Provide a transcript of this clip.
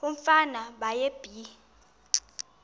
umfana baye bee